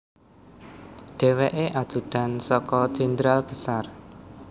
Dhèwèkè ajudan saka Jenderal Besar